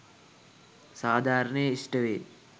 සාධාරණය ඉෂ්ටවේ